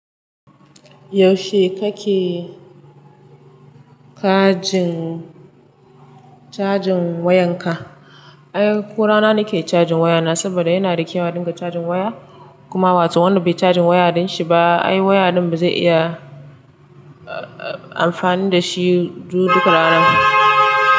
Yaushe kake kajin-- cajin wayan ka? Ai ko rana nake cajin waya na saboda yana da kyau a dinga cajin waya. Kuma wato wanda bai cajin waya ya ɗinshi ba, ai waya din ba zai iya, a-a-amfani da shi du duka ranan.